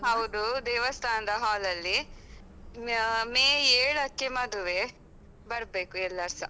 ಹೌದು, ದೇವಸ್ಥಾನದ hall ಅಲ್ಲಿ. ಅಹ್ ಮೇ ಏಳಕ್ಕೆ ಮದುವೆ, ಬರ್ಬೇಕು ಎಲ್ಲಾರೂಸ.